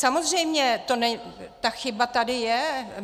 Samozřejmě, ta chyba tady je.